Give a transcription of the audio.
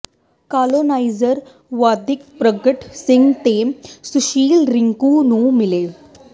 coloniser ਵਿਧਾਇਕ ਪਰਗਟ ਸਿੰਘ ਤੇ ਸੁਸ਼ੀਲ ਰਿੰਕੂ ਨੂੰ ਮਿਲੇ